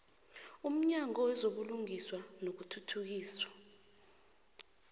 umnyango wezobulungiswa nokuthuthukiswa